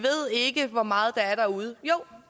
ikke ved hvor meget der er derude jo